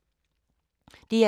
DR2